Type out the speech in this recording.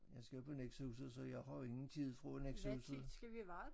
Jeg skal på Nexøhuset så jeg har ingen tid fra Nexøhuset